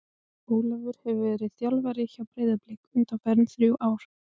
Ég er bara að tjá þér ást mína, svarar hann sposkur.